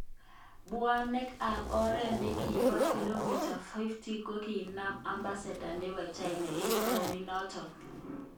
Banweek kap oret nekibo kilometers 5 kokinam ambassador nebo china eng townit noton.